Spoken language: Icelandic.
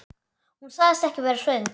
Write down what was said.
Hún sagðist ekki vera svöng.